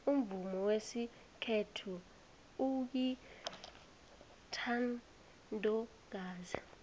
umvumo wesikhethu uyintandokazi